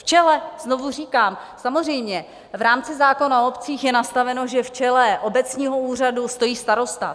V čele - znovu říkám, samozřejmě v rámci zákona o obcích je nastaveno, že v čele obecního úřadu stojí starosta.